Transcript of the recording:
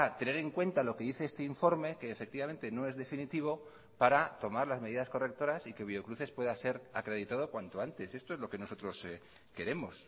tener en cuenta lo que dice este informe que efectivamente no es definitivo para tomar las medidas correctoras y que biocruces pueda ser acreditado cuanto antes esto es lo que nosotros queremos